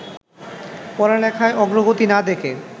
পড়ালেখায় অগ্রগতি না দেখে